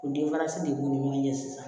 O denfarisi de b'u ni ɲɔgɔn cɛ sisan